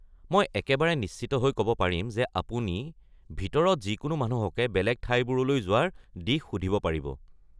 মই একেবাৰে নিশ্চিত হৈ কব পাৰিম যে আপুনি ভিতৰত যিকোনো মানুহকে বেলেগ ঠাইবোৰলৈ যোৱাৰ দিশ সুধিব পাৰিব।